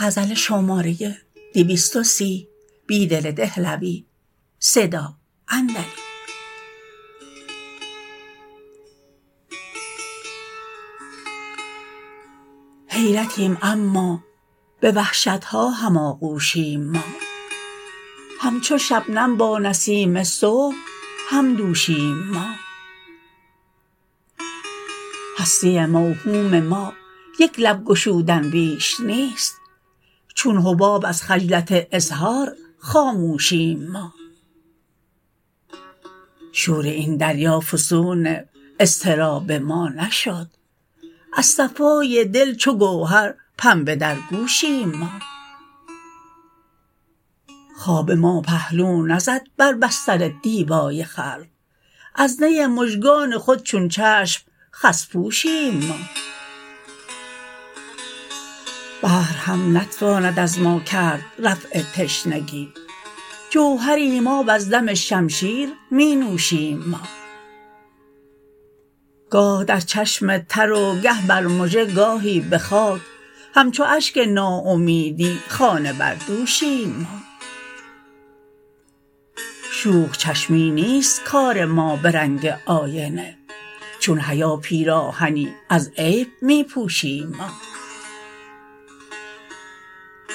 حیرتیم اما به وحشتها هماغوشیم ما همچوشبنم با نسیم صبح همدوشیم ما هستی موهوم مایک لب گشودن بیش نیست چون حباب از خجلت اظهار خاموشیم ما شور این دریا فسون اضطراب ما نشد از صفای دل چوگوهر پنبه درگوشیم ما خواب ما پهلو نزد بر بستر دیبای خلق ازنی مژگان خود چون چشم خس پوشیم ما بحر هم نتواند از ماکرد رفع تشنگی جوهریم آب از دم شمشیر می نوشیم ما گاه در چشم تر وگه برمژه گاهی به خاک همچو اشک ناامیدی خانه بردوشیم ما شوخ چشمی نیست کار ما به رنگ آینه چون حیا پیراهنی از عیب می پوشیم ما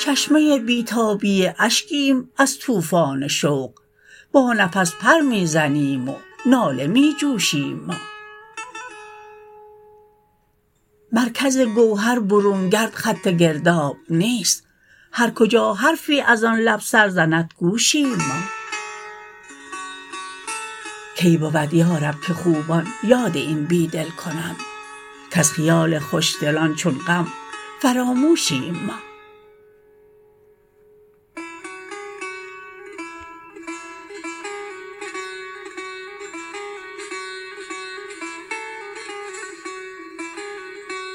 چشمه بیتابی اشکیم از توفان شوق با نفس پر می زنیم وناله می جوشیم ما مرکزگوهر برون گرد خط گرداب نیست هرکجا حرفی ازآن لب سرزندگوشیم ما کی بود یارب که خوبان یاد این بیدل کنند کزخیال خوشدلان چون غم فراموشیم ما